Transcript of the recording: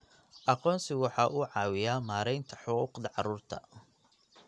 Aqoonsigu waxa uu caawiyaa maaraynta xuquuqda carruurta.